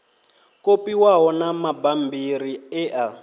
kopiwaho na mabammbiri e a